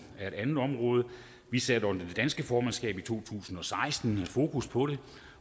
er et andet område vi satte under det danske formandskab i to tusind og seksten fokus på det